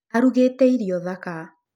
Arugĩte irio thaka.